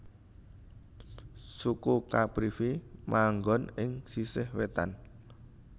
Suku Caprivi manggon ing sisih wétan